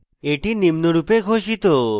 এটি নিম্নরূপে ঘোষিত